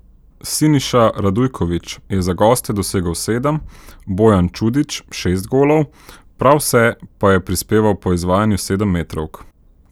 Siniša Radujković je za goste dosegel sedem, Bojan Čudić šest golov, prav vse pa je prispeval po izvajanju sedemmetrovk.